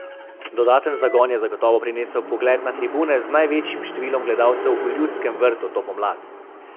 Dodaten zagon je zagotovo prinesel pogled na tribune, z največjim številom gledalcev v Ljudskem vrtu to pomlad.